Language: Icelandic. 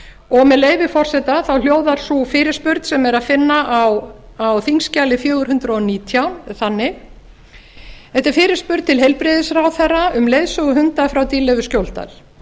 og með leyfi forseta þá hljóðar sú fyrirspurn sem er að finna á þingskjali fjögur hundruð og nítján þannig þetta er fyrirspurn til heilbrigðisráðherra um leiðsöguhunda frá dýrleif skjóldal